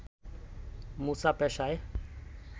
মুসা পেশায়